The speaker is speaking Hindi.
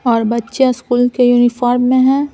और बच्चे स्कूल के यूनिफॉर्म में है।